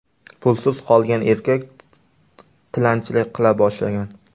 Pulsiz qolgan erkak tilanchilik qila boshlagan.